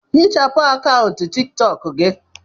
Hichapụ akaụntụ tiktok gị!